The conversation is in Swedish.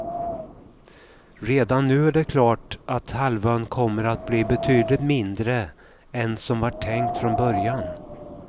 Redan nu är det klart att halvön kommer att bli betydligt mindre än som var tänkt från början.